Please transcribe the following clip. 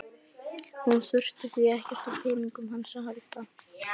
Hún þurfi því ekkert á peningunum hans að halda.